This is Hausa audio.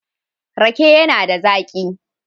Rake yana da zaƙi.